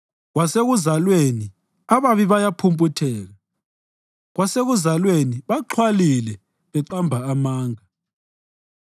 Kwasekuzalweni ababi bayaphumputheka; kwasekuzalweni baxhwalile, beqamba amanga.